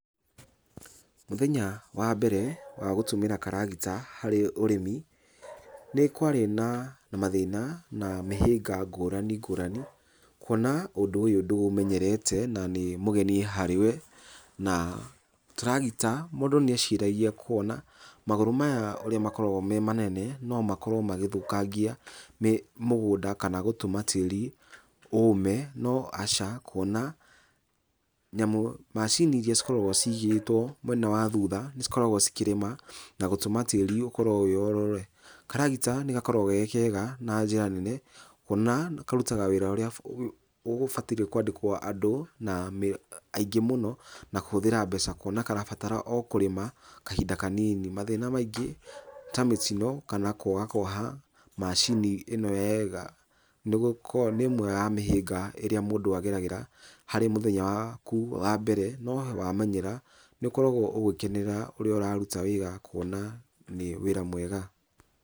Mũthenya wa mbere wa gũtũmĩra karagita harĩ ũrĩmi, nĩ kwarĩ na mathĩna na mĩhĩnga ngũrani ngũrani, kuona ũndũ ũyũ ndũũmenyereta na nĩ mũgeni harĩ we. Na tũragita, mũndu nĩ eciragia, kũona magũrũ maya ũrĩa makoragwo me manene no makorwo magĩthũkangia mũgũnda kana gũtũma tĩĩri ũme. No aca, kũona, nyamũ, macini iria cikoragwo ciigĩtwo mwena wa thutha, cikoragwo cikĩrĩma na gũtũma tĩĩri ũkorwo wĩ orore. Karagita nĩ gakoragwo ge kega na njĩra nene, kũona karutaga wĩra ũrĩa ũgũbataire kũandĩkwo andũ na aingĩ mũno, na kũhũthĩra mbeca, kũona karabatara o kũrĩma kahinda kanini. Mathĩna maingĩ ta mĩtino kana kũagakuoha macini ĩno wega, nĩ gũkorwo nĩ ĩmwe ya mĩhinga ĩrĩa mũndũ ageragĩra harĩ mũthenya waku wa mbere. No wamenyera nĩ ũkoragwo ũgĩkenera ũrĩa ũraruta wĩra kuona nĩ wĩra mwega.